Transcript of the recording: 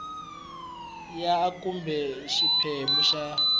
ya a kumbe xiphemu xa